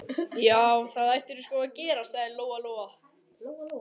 Já, það ættirðu sko að gera, sagði Lóa Lóa.